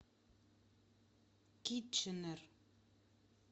китченер